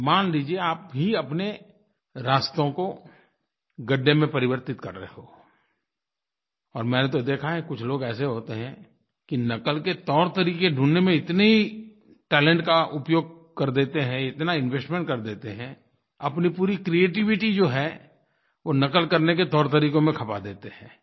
मान लीजिए आप भी अपने रास्तों को गड्ढे में परिवर्तित कर रहे हो और मैंने तो देखा है कुछ लोग ऐसे होते हैं कि नक़ल के तौरतरीक़े ढूँढ़ने में इतनी टैलेंट का उपयोग कर देते हैं इतना इन्वेस्टमेंट कर देते हैं अपनी पूरी क्रिएटिविटी जो है वो नक़ल करने के तौरतरीक़ों में खपा देते हैं